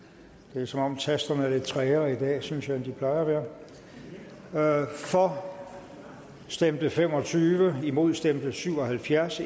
det er som om tasterne er lidt trægere i dag synes jeg end de plejer at være for stemte fem og tyve imod stemte syv og halvfjerds